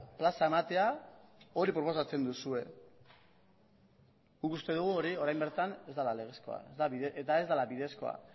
plaza ematea hori proposatzen duzue guk uste dugu hori orain bertan ez dela legezkoa eta ez dela bidezkoa